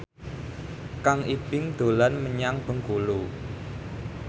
Kang Ibing dolan menyang Bengkulu